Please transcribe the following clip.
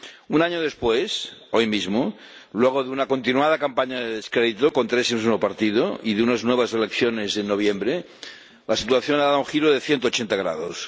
Un año después, hoy mismo, luego de una continuada campaña de descrédito contra ese mismo partido y de unas nuevas elecciones en noviembre, la situación ha dado un giro de 180 grados.